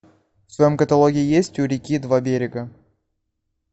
в твоем каталоге есть у реки два берега